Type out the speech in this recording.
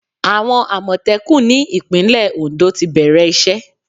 Àwọn Àmọ̀tẹ́kùn ní ìpínlẹ̀ Ondo ti bẹ̀rẹ̀ ìṣe.